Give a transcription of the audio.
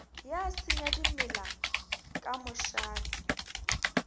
ya senya dimela ka mošate